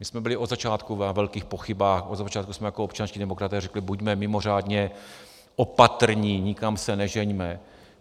My jsme byli od začátku na velkých pochybách, od začátku jsme jako občanští demokraté řekli: buďme mimořádně opatrní, nikam se nežeňme.